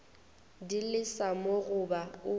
di lesa mo goba o